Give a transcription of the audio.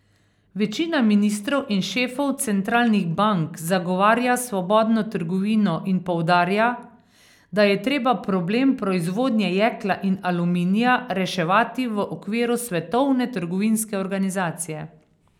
Večina ministrov in šefov centralnih bank zagovarja svobodno trgovino in poudarja, da je treba problem proizvodnje jekla in aluminija reševati v okviru Svetovne trgovinske organizacije.